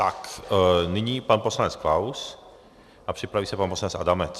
Tak nyní pan poslanec Klaus a připraví se pan poslanec Adamec.